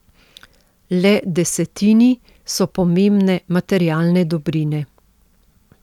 Le desetini so pomembne materialne dobrine.